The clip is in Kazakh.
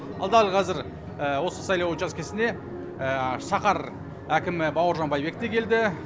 ал дәл қазір осы сайлау учаскесіне шаһар әкімі бауыржан байбек те келді